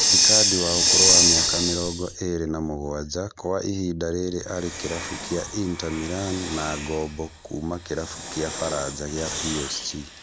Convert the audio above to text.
Icardi wa ũkũrũ wa mĩaka mĩrongo ĩrĩ na mũgwanja kwa ihinda rĩrĩ arĩ kĩrabu kĩa Inter Milan na ngombo kuuma kĩrabu kĩa Faranja kĩa PSG